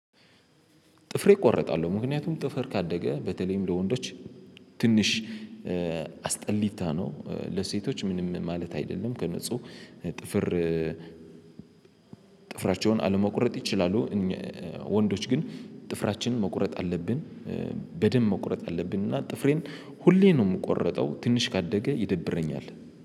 ጥፍሬ እቆርጣለሁ፤ ምክንያቱም ጥፍር ካደገ በተለይም ለወንዶች ትንሽ አስጠሊታ ነው፤ ለሴቶች ምንም ማለት አይደለም ከንጹህ ጥፍር ጥፍራቸውን አለመቁረጥ ይችላሉ፤ ወንዶች ግን ጥፍራችንን መቁረጥ አለብን፤ በደንብ መቁረጥ አለብን እና ጥፍሬን ሁሌ ነው የምቆረጠው ትንሽ ካደገ ይደብረኛል።